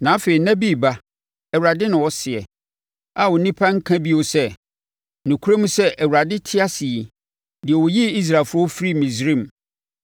Na afei nna bi reba,” Awurade na ɔseɛ, “a nnipa renka bio sɛ, ‘Nokorɛm sɛ Awurade te ase yi, deɛ ɔyii Israelfoɔ firii Misraim,’